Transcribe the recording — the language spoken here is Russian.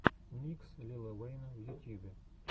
микс лила уэйна в ютьюбе